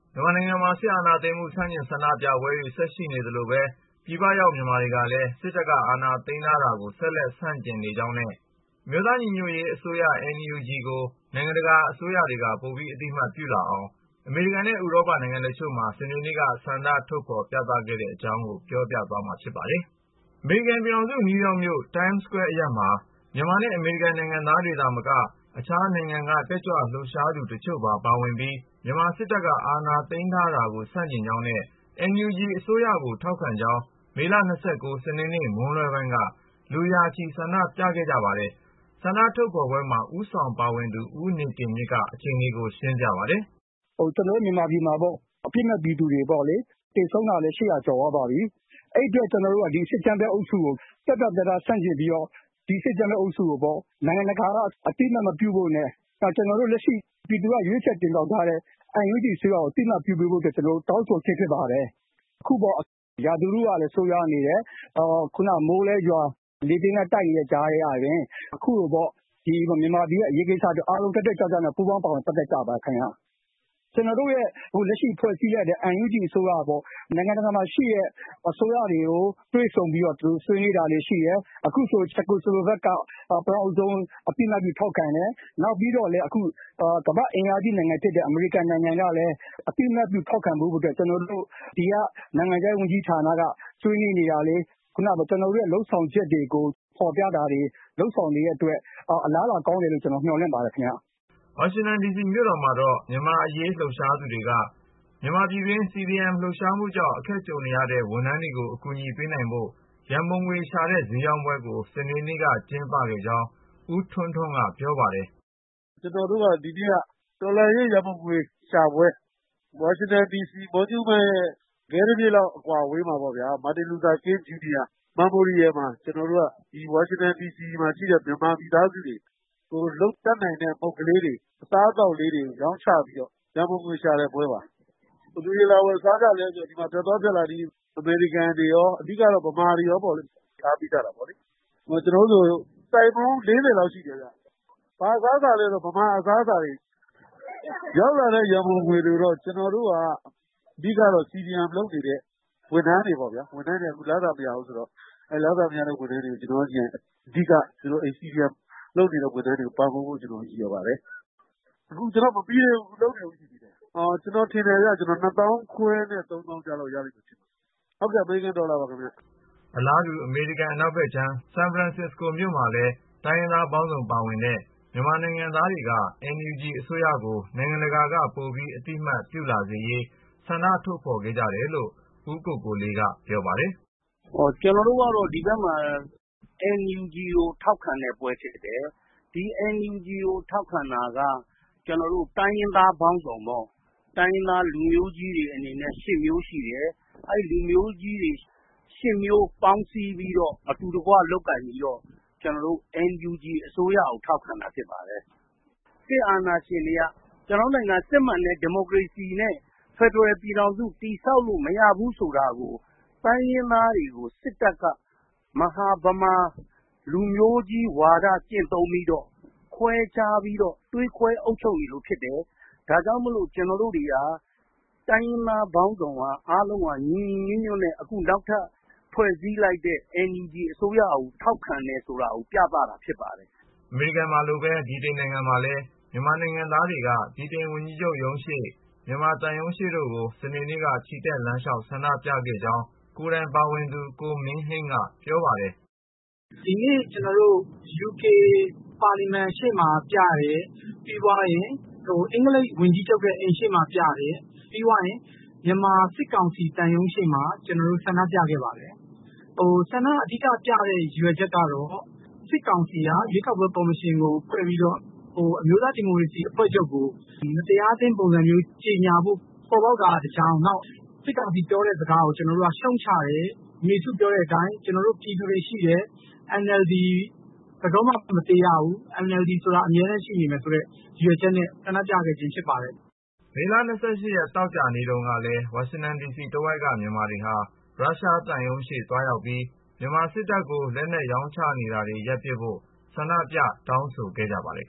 မြန်မာနိုင်ငံမှာ စစ်အာဏာသိမ်းမှု ဆန့်ကျင် ဆန္ဒပြပွဲတွေ ဆက်ရှိနေသလိုပဲ ပြည်ပရောက် မြန်မာတွေကလည်း စစ်တပ်က အာဏာသိမ်းထားတာကို ဆက်လက် ဆန့်ကျင်နေကြောင်းနဲ့ အမျိုးသားညီညွတ်ရေးအစိုးရ ကို နိုင်ငံတကာ အစိုးရတွေက ပိုပြီး အသိအမှတ်ပြုလာအောင် အမေရိကန်နဲ့ ဥရောပ နိုင်ငံတချို့မှာ စနေနေ့က ဆန္ဒထုတ်ဖော် ပြသခဲ့ကြပါတယ်။ အပြည့်အစုံကို ကိုဉာဏ်ဝင်းအောင် စုစည်း တင်ပြထားပါတယ်။ အမေရိကန်ပြည်ထောင်စု နယူးယောက်မြို့ Times Square အရပ်မှာ မြန်မာနဲ့ အမေရိကန်နိုင်ငံသားတွေသာမက တခြားနိုင်ငံတွေက တက်ကြွလှုပ်ရှားသူ တချို့ပါ ပါဝင်ပြီး မြန်မာစစ်တပ် အာဏာသိမ်းထားမှုကို ဆန့်ကျင်ကြောင်းနဲ့ NUG အစိုးရကို ထောက်ခံကြောင်း မေလ ၂၉ စနေနေ့ မွန်းလွဲပိုင်းက လူရာချီ ဆန္ဒပြခဲ့ကြပါတယ်။ ဆန္ဒထုတ်ဖော်ပွဲမှာ ဦးဆောင်ပါဝင်သူ ဦးနေတင်မြင့်က အခြေအနေကို ရှင်းပြပါတယ်။ “ကျနော်တို့မြန်မာပြည်မှာ အပြစ်မဲ့ပြည်သူတွေ သေဆုံးတာလည်း ၈၀၀ ကျော်သွားပါပြီ။ အဲဒီအတွက် ကျနော်တို့က ဒီ စစ်အကြမ်းဖက်အုပ်စုကို ပြတ်ပြတ်သားသား ဆန့်ကျင်ပြီး ဒီ စစ်အကြမ်းဖက်အုပ်စုကို နိုင်ငံတကာက အသိအမှတ်မပြုဖို့နဲ့ လက်ရှိ ပြည်သူက ရွေးချယ်တင်မြှောက်ထားတဲ့ NUG အစိုးရကို အသိအမှတ်ပြုပေးဖို့ တောင်းဆိုခြင်း ဖြစ်ပါတယ်။ အခု ရာသီဥတုကလည်း ဆိုးရွားနေတယ်၊ ခုန မိုးလည်းရွာ၊ လေပြင်းလည်း တိုက်နေတဲ့ကြားထဲက အခုလို မြန်မာပြည်ရဲ့ အရေးကိစ္စအတွက် အားလုံး တက်တက်ကြွကြွ ပူးပေါင်းပါဝင် ပတ်သက်ကြပါတယ်။ လက်ရှိဖွဲ့စည်းလိုက်တဲ့ NUG အစိုးရက နိုင်ငံတကာမှာရှိတဲ့ အစိုးရတွေကို တွေ့ဆုံပြီး ဆွေးနွေးတာတွေ ရှိတယ်။ အခုဆို ချက်ကိုစလိုဗက်က ပထမဆုံး အသိအမှတ်ပြု ထောက်ခံတယ်။ ပြီးတော့ ကမ္ဘာ့အင်အားကြီးနိုင်ငံဖြစ်တဲ့ အမေရိကန်နိုင်ငံကလည်း အသိအမှတ်ပြု ထောက်ခံဖို့အတွက် ဒီက နိုင်ငံခြားရေးဝန်ကြီးဌာနက ဆွေးနွေးနေတာတွေ၊ ကျနော်တို့ရဲ့ လုပ်ဆောင်ချက်တွေကို ဖော်ပြတာတွေ လုပ်ဆောင်နေတဲ့အတွက် အာလးအလာကောင်းတယ်လို့ မျှော်လင့်ပါတယ်။” ဝါရှင်တန်ဒီစီမြို့တော်မှာတော့ မြန်မာ့အရေး လှုပ်ရှားသူတွေက မြန်မာပြည်တွင်း CDM လှုပ်ရှားမှုကြောင့် အခက်အခဲ ကြုံနေရတဲ့ ဝန်ထမ်းတွေကို အကူအညီပေးနိုင်ဖို့ ရန်ပုံငွေရှာတဲ့ ဈေးရောင်းပွဲကို စနေနေ့က ကျင်းပခဲ့ကြောင်း ဦးထွန်းထွန်းက ပြောပါတယ်။ “ကျနော်တို့ ဒီနေ့က တော်လှန်ရေး ရန်ပုံငွေရှာပွဲ၊ ဝါရှင်တန်ဒီစီ Monument ရဲ့ ခဲတပစ်လောက် အကွာအဝေးမှာ Martin Luther King Jr. Memorial မှာ ကျနော်တို့ ဝါရှင်တန်ဒီစီမှာရှိတဲ့ မြန်မာမိသားစုတွေ ကိုယ်တတ်နိုင်တဲ့ မုန့်ကလေးတွေ၊ အစားအသောက်လေးတွေ ရောင်းချပြီးတော့ ရန်ပုံငွေရှာတဲ့ပွဲပါ။ ဘယ်သူတွေ လာဝယ်စားကြလဲဆိုတော့ ဒီမှာ ဖြတ်သွားဖြတ်လာ အမေရိကန်တွေရော အဓိကတော့ ဗမာတွေရော လာအားပေးကြတာပေါ့။ ကျနော်တို့ဆို ဆိုင်ပေါင်း ၄၀ လောက်ရှိတယ်။ ဘာအစားအစာလဲဆိုတော့ မြန်မာအစားအစားတွေ။ ရလာတဲ့ ရန်ပုံငွေတွေကိုတော့ အဓိက CDM လုပ်နေတဲ့ ဝန်ထမ်းတွေ၊ ဝန်ထမ်းတွေက လစာမရဘူးဆိုတော့ အဓိက CDM လုပ်နေတဲ့ ဝန်ထမ်းတွေကို ပံ့ပိုးဖို့ ရည်ရွယ်ပါတယ်။ အခုမပြီးသေးဘူး လုပ်နေတုန်းရှိသေးတယ်။ အမေရိကန်ဒေါ်လာ နှစ်သောင်းခွဲနဲ့ သုံးသောင်းကြား ရလိမ့်မယ်လို့ ထင်ပါတယ်။” အလားတူ အမေရိကန် အနောက်ဘက်ခြမ်း ဆန်ဖရန်စစ္စကိုမြို့ Embarcadero Plaza မှာလည်း တိုင်းရင်းသားပေါင်းစုံ ပါဝင်တဲ့ မြန်မာနိုင်ငံသားတွေက NUG အစိုးရကို နိုင်ငံတကာက ပိုပြီး အသိအမှတ်ပြုလာစေရေး ဆန္ဒထုတ်ဖော်ခဲ့ကြတယ်လို့ ဦးကိုကိုလေးက ပြောပါတယ်။ “ကျနော်တို့ကတော့ ဒီဘက်မှာ NUG ကို ထောက်ခံတဲ့ပွဲဖြစ်တယ်။ NUG ကို ထောက်ခံတာက တိုင်းရင်းသားပေါင်းစုံပေါ့။ တိုင်းရင်းသား လူမျိုးကြီးတွေအနေနဲ့ ၈ မျိုးရှိတယ်။ အဲဒီ လူမျိုးကြီး ၈ မျိုး ပေါင်းစည်းပြီးတော့ အတူတကွ လုပ်ကိုင်ပြီးတော့ NUG အစိုးရကို ထောက်ခံတာ ဖြစ်ပါတယ်။ စစ်အာဏာရှင်တွေက ကျနော်တို့နိုင်ငံ စစ်မှန်တဲ့ ဒီမိုကရေစီနဲ့ ဖက်ဒရယ်ပြည်ထောင်စု တည်ဆောက်လို့ မရဘူးဆိုတာကို တိုင်းရင်းသားတွေကို စစ်တပ်က မဟာဗမာ လူမျိုးကြီးဝါဒ ကျင့်သုံးပြီးတော့ ခွဲခြားပြီးတော့ သွေးခွဲ အုပ်ချုပ်နေလို့ ဖြစ်တယ်။ ဒါကြောင့် ကျနော်တို့ တိုင်းရင်းသားပေါင်းစုံက အားလုံး ညီညီညွတ်ညွတ်နဲ့ နောက်ထပ် ဖွဲ့စည်းလိုက်တဲ့ NUG အစိုးရကို ထောက်ခံတယ်ဆိုတာ ပြသတာဖြစ်ပါတယ်။” အမေရိကန်မှာလိုပဲ ဗြိတိန်နိုင်ငံမှာလည်း မြန်မာနိုင်ငံသားတွေက ဗြိတိန်ဝန်ကြီးချုပ်ရုံးရှေ့၊ မြန်မာသံရုံးရှေ့တို့ကို စနေနေ့က ချီတက်လမ်းလျှောက် ဆန္ဒပြခဲ့ကြောင်း ကိုယ်တိုင်ပါဝင်သူ ကိုမင်းဟိန်းက ပြောပါတယ်။ “ဒီနေ့ ကျနော်တို့ UK ပါလီမန်ရှေ့မှာပြတယ်၊ ပြီးရင် အင်္ဂလိပ်ဝန်ကြီးချုပ်ရဲ့ အိမ်ရှေ့မှာ ပြတယ်၊ ပြီးရင် မြန်မာစစ်ကောင်စီ သံရုံးရှေ့မှာ ဆန္ဒပြခဲ့ပါတယ်။ ဆန္ဒပြတဲ့ အဓိက ရည်ရွယ်ချက်ကတော့ စစ်ကောင်စီက ရွေးကောက်ပွဲကော်မရှင်ကို ဖွဲ့ပြီးတော့ အမျိုးသားဒီမိုကရေစီ အဖွဲ့ချုပ်ကို မတရားသင်းပုံံစံမျိုး ကြေညာဖို့ ပေါ်ပေါက်တာက တကြောင်း၊ ပြီးတော့ စစ်ကောင်စီပြောတဲ့စကားကို ကျနော်တို့က ရှုတ်ချတယ်။ အမေစုပြောတဲ့အတိုင်း ကျနော်တို့ ပြည်သူတွေရှိတယ်၊ NLD ဘယ်တော့မှ မသေရဘူး၊ NLD ဆိုတာ အမြဲတမ်းရှိနေမယ်ဆိုတဲ့ ရည်ရွယ်ချက်နဲ့ ဆန္ဒပြခဲ့တာ ဖြစ်ပါတယ်။” မေလ ၂၈ ရက် သောကြာနေ့တုန်းကလည်း ဝါရှင်တန်ဒီစီတဝိုက်က မြန်မာတွေဟာ ရုရှားသံရုံးရှေ့ သွားရောက်ပြီး မြန်မာစစ်တပ်ကို လက်နက်ရောင်းနေတာတွေ ရပ်ပစ်ဖို့ ဆန္ဒပြ တောင်းဆိုခဲ့ကြပါတယ်